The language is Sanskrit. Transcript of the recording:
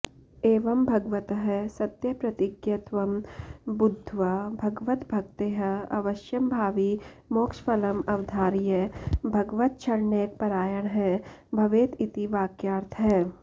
एवं भगवतः सत्यप्रतिज्ञत्वं बुद्ध्वा भगवद्भक्तेः अवश्यंभावि मोक्षफलम् अवधार्य भगवच्छरणैकपरायणः भवेत् इति वाक्यार्थः